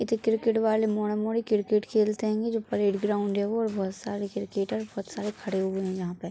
इते क्रिकेट वाले मौडा- मोड़ी क्रिकेट खेलते हैंगे जो प्लेग्राउंड है वो बहुत सारे क्रिकेटर बहुत सारे खड़े हुए हैं यहाँ पे।